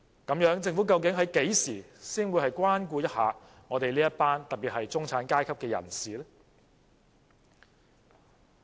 那麼，政府究竟何時才會關顧一下中產階級人士？